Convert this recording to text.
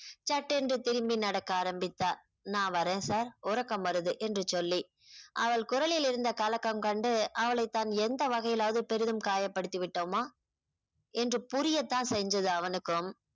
சட்டென்று திரும்பி நடக்க ஆரம்பித்தா நான் வரேன் sir உறக்கம் வருது என்று சொல்லி அவள் குரலில் இருந்த கலக்கம் கண்டு அவளை தன் எந்த வகையிலாவது பெரிதும் காயப்படுத்தி விட்டோமா என்று புரியத்தான் செஞ்சுதா அவனுக்கும்